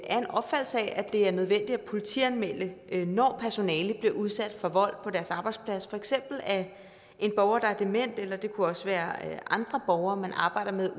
er en opfattelse af at det er nødvendigt at politianmelde når personale bliver udsat for vold på deres arbejdsplads for eksempel af en borger der er dement eller det kunne også være andre borgere man arbejder med